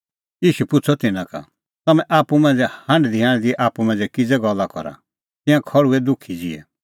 ईशू पुछ़अ तिन्नां का तम्हैं आप्पू मांझ़ै हांढदीहांढदी आप्पू मांझ़ै किज़ै गल्ला करा तिंयां खल़्हुऐ दुखी ज़िहै